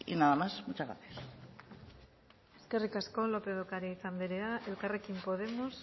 nada más muchas gracias eskerrik asko lópez de ocariz anderea elkarrekin podemos